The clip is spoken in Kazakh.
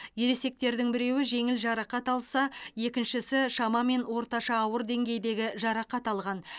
ересектердің біреуі жеңіл жарақат алса екіншісі шамамен орташа ауыр деңгейдегі жарақат алған